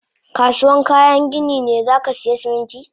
Kasuwan kayan gini ne zakasaya Siminti